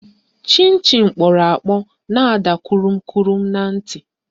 Chịn Chịn kpọrọ akpọ na-ada kụrụm kụrụm na ntị